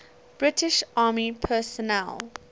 british army personnel